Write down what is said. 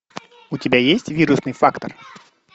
у тебя есть вирусный фактор